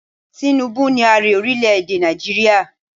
Tinubu ni Ààrẹ ọrílẹ̀ èdè Nàìjíríà.